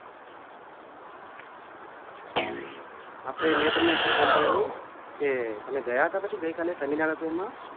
અચ્છા આપણે મે તમને એટલે call કરેલું કે તમે ગયા હતા પછી ગઈ કાલે seminar હતું એમાં?